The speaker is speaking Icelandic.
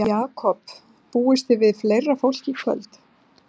Jakob, búist þið við fleira fólki í kvöld?